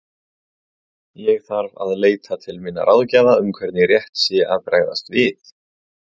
Ég þarf að leita til minna ráðgjafa um hvernig rétt sé að bregðast við.